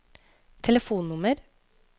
telefonnummer